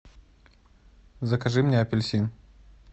закажи мне апельсин